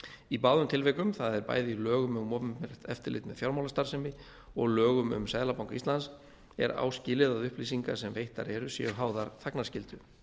í báðum tilvikum það er bæði í lögum um opinbert eftirlit með fjármálastarfsemi og lögum um seðlabanka íslands er áskilið að upplýsingar sem veittar eru séu háðar þagnarskyldu